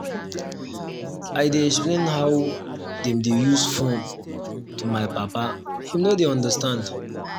i dey explain how dem dey use fone to my papa him no dey understand.